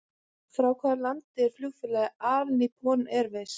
Frá hvaða landi er flugfélagið All Nippon Airways?